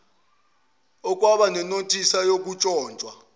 okwaba nenothisi yokuntshontshwa